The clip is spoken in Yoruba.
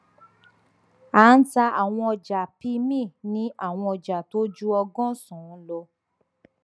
a ń ta àwọn ọjà pmi ní àwọn ọjà tó ju ọgọsànán lọ